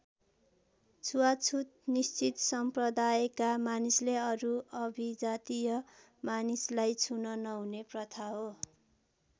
छुवाछुत निश्चित सम्प्रदायका मानिसले अरु अभिजातीय मानिसलाई छुन नहुने प्रथा हो।